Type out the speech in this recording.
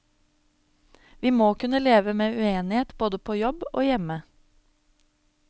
Vi må kunne leve med uenighet både på jobb og hjemme.